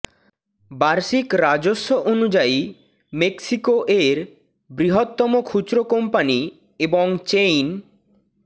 বার্ষিক রাজস্ব অনুযায়ী মেক্সিকো এর বৃহত্তম খুচরো কোম্পানি এবং চেইন